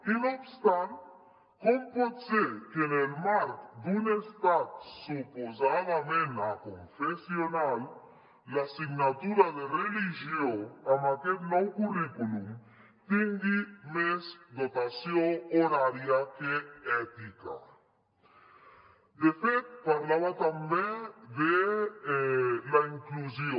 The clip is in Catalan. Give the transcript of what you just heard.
i no obstant com pot ser que en el marc d’un estat su·posadament aconfessional l’assignatura de religió en aquest nou currículum tingui més dotació horària que ètica de fet parlava també de la inclusió